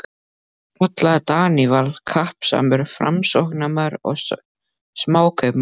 kallaði Daníval, kappsamur Framsóknarmaður og smákaupmaður.